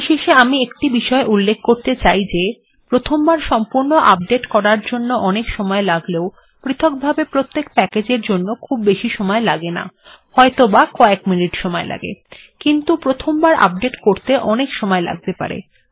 পরিশেষে আমি একটি বিষয় উল্লেখ করতে চাই যে প্রথমবার সম্পূর্ণ আপডেট্ করার জন্য অনেক সময় লাগলেও পৃথকভাবে প্রত্যেক প্যাকেজ্ এর জন্য খুব বেশী সময় লাগে না হয়ত কয়েক মিনিট সময় লাগে কিন্তু প্রথমবার আপডেট্ করতে অনেক সময় লাগতে পারে